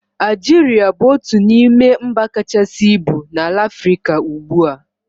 Aljiria bụ otu n'ime mba kachasị ibu na Afrịka ugbua